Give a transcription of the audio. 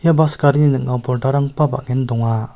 bas garini ning·ao pordarangba bang·en donga.